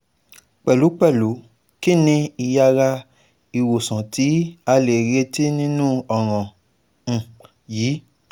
Pẹlupẹlu kini iyara iwosanti a le reti ninu ọran yii